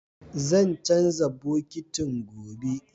Zan canza bokitin, gobe